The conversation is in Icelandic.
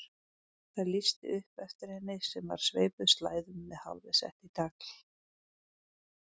Það lýsti upp eftir henni sem var sveipuð slæðum með hárið sett í tagl.